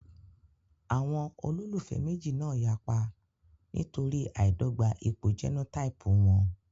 Àwọn olólùfẹ́ méjì náà yapa nítorí àìdọ́gba ipò jẹ́nótáípù wọn